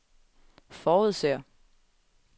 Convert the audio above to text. forudser